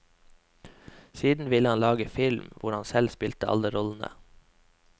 Siden ville han lage film hvor han selv spilte alle rollene.